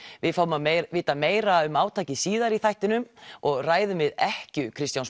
við fáum að vita meira um átakið síðar í þættinum og ræðum við ekkju Kristjáns